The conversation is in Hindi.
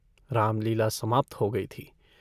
रामलीला समाप्त हो गयी थी।